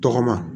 Tɔgɔma